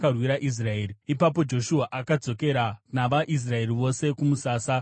Ipapo Joshua akadzokera navaIsraeri vose kumusasa kuGirigari.